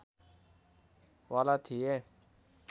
वाला थिए